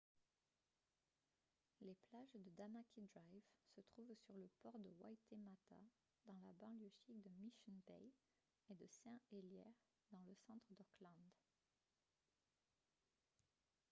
les plages de tamaki drive se trouvent sur le port de waitemata dans la banlieue chic de mission bay et de saint heliers dans le centre d'auckland